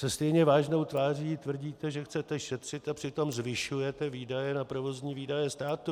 Se stejně vážnou tváří tvrdíte, že chcete šetřit, a přitom zvyšujete výdaje na provozní výdaje státu.